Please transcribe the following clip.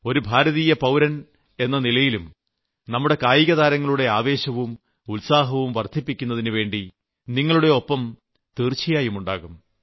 ഒരു പൌരൻ എന്ന നിലയിലും നമ്മുടെ കായികതാരങ്ങളുടെ ആവേശവും ഉത്സാഹവും വർദ്ധിപ്പിക്കുന്നതിനുവേണ്ടി നിങ്ങളുടെ ഒപ്പം തീർച്ചയായും ഉണ്ടാകും